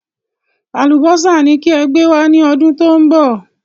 Àlùbọ́sà ni kí ẹ gbé wá ní ọdún tó ń bọ̀